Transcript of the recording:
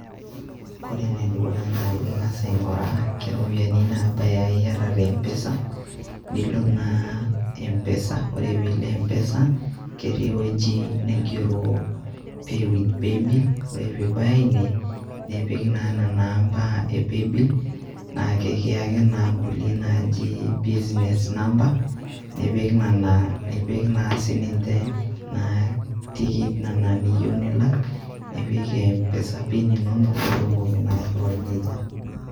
Kore ene dukuya naa ing'asa aing'uraa keropiani nabaaya aa iata te mpesa nilo naa mpesa, kore pee ilo mpesa keti ewueji naigero pay with paybill, ore pee ibaya ine nipik naa nena amba e paybill, naake kiyaki naa nkulie naaji business number, nipik nena nipik naa sininje tikit nena niyiu nilak, nipik naa mpesa PIN inonok piitumoki naa airiwai neija.